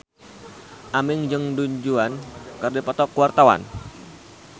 Aming jeung Du Juan keur dipoto ku wartawan